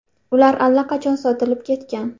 Ular allaqachon sotilib ketgan.